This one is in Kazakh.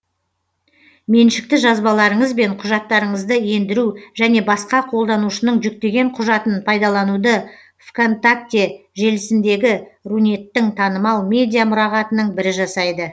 меншікті жазбаларыңыз бен құжаттарыңызды ендіру және басқа қолданушының жүктеген құжатын пайдалануды вконтакте желісіндегі рунеттің танымал медиа мұрағатының бірі жасайды